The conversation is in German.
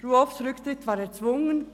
«Ruoffs Rücktritt war erzwungen».